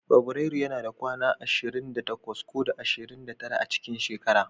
Fabrairu yana da kwana ashirin da takwas ko da ashirin da tara a cikin shekara.